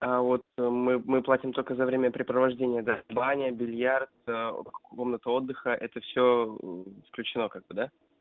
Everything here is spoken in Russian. а вот мы платим только за времяпрепровождения баня бильярд комната отдыха это все включено как-то да